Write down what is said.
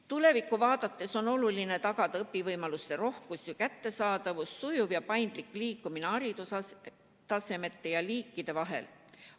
Tulevikku vaadates on oluline tagada õpivõimaluste rohkus ja kättesaadavus ning sujuv ja paindlik liikumine haridustasemete ja -liikide vahel.